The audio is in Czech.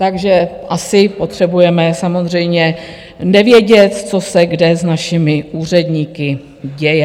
Takže asi potřebujeme samozřejmě nevědět, co se kde s našimi úředníky děje.